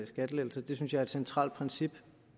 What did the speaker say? skattelettelser det synes jeg er et centralt princip